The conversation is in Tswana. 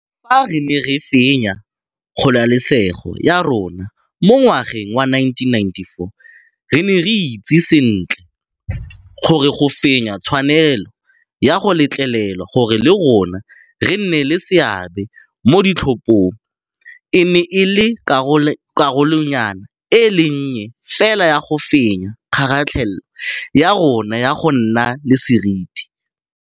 Fa re ne re fenya kgololesego ya rona mo ngwageng wa 1994, re ne re itse sentle gore go fenya tshwanelo ya go letlelelwa gore le rona re nne le seabe mo ditlhophong e ne e le karolonyana e le nnye fela ya go fenya kgaratlhelo ya rona ya go nna le seriti.